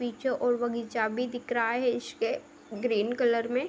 पीछे और बगीचा भी दिख रहा है इशके ग्रीन कलर में |